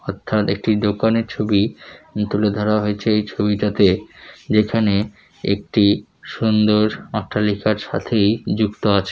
অর্থাৎ একটি দোকানের ছবি তুলে ধরা হয়েছে এই ছবিটাতে যেখানে একটি সুন্দর অট্টালিকার সাথেই যুক্ত আছ--